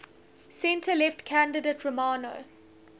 centre left candidate romano